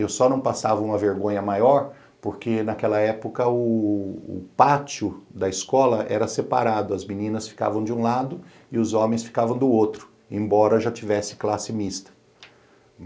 Eu só não passava uma vergonha maior porque naquela época o pátio da escola era separado, as meninas ficavam de um lado e os homens ficavam do outro, embora já tivesse classe mista.